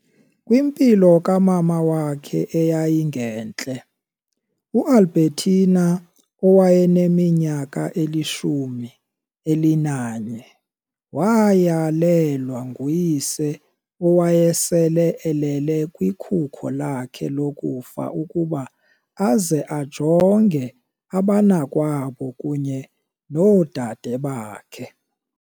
Kwimpilo kamama wakhe eyayingentle, uAlbertina owayeneminyaka elishumi elinanye wayalelwa nguyise owayesele elele kwikhuko lakhe lokufa ukuba aze ajonge abanakwabo kunye noodade bakhe.